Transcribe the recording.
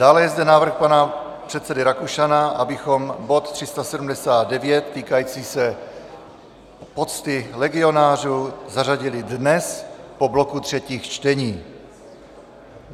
Dále je zde návrh pana předsedy Rakušana, abychom bod 379 týkající se pocty legionářům, zařadili dnes po bloku třetích čtení.